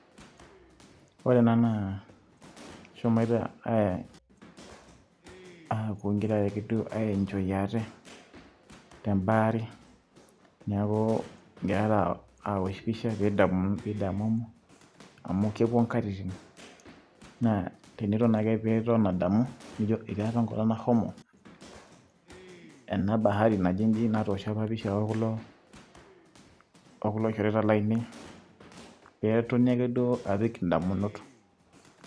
ore ena naa keshomoito aapuo ake duo egira ake duo ae enjoy ate.te bahari neeku egira aosh pisha pee edamu, pee idamumu amu kepuo inkatitin, naa teniton ake pee iton adamu, nijo etii apa enkolong nashomo, ena bahari naji ijin, natoosho apa empisha o kulo shoreta laainei. netoni ake duo apik idamunot.